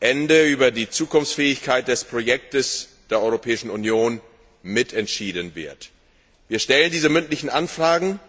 Ende auch über die Zukunftsfähigkeit des Projektes der Europäischen Union mitentschieden wird. Wir stellen diese mündlichen Anfragen,